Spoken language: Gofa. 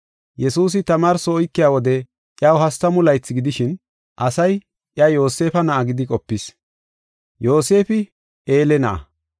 Yesuusi tamaarso oykiya wode iyaw hastamu laythi gidishin, asay iya Yoosefa na7a gidi qopis. Yoosefi Eele na7a,